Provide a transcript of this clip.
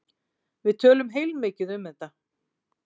Við töluðum heilmikið um þetta.